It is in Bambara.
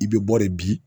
I bɛ bɔ de bi